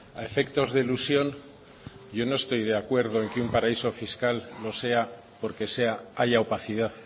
a efectos de elusión yo no estoy de acuerdo en que un paraíso fiscal lo sea porque sea haya opacidad